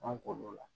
An k'o la